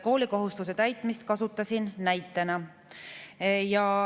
Koolikohustuse täitmist kasutasin näitena.